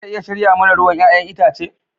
Za ta iya shirya mana ruwan 'ya'yan itace?